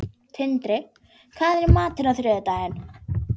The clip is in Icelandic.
Tindri, hvað er í matinn á þriðjudaginn?